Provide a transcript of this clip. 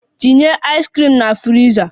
Tinye ice cream na friza!